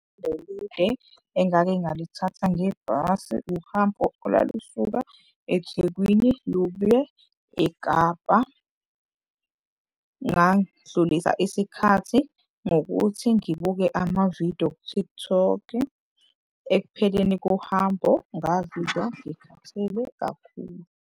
Engake ngalithatha ngebhasi uhambo olwalusuka eThekwini eKapa. Ngandlulisa isikhathi ngokuthi ngibuke amavido ku-TikTok ekupheleni kohambo, ngazizwa ngikhathele kakhulu.